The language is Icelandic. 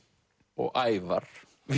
og Ævar